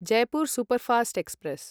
Jaipur Superfast express